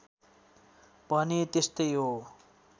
भने त्यस्तै हो